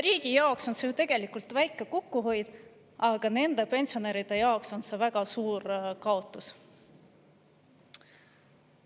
Riigi jaoks on see ju tegelikult väike kokkuhoid, aga nende pensionäride jaoks on see väga suur kaotus.